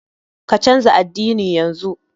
Ka canja addini yanzu!